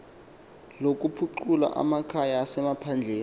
lokuphucula amakhaya asemaphandleni